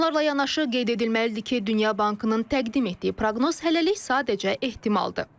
Bunlarla yanaşı qeyd edilməlidir ki, Dünya Bankının təqdim etdiyi proqnoz hələlik sadəcə ehtimaldır.